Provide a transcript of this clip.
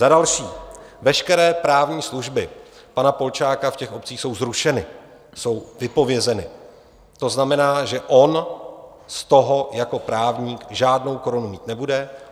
Za další: veškeré právní služby pana Polčáka v těch obcích jsou zrušeny, jsou vypovězeny, to znamená, že on z toho jako právník žádnou korunu mít nebude.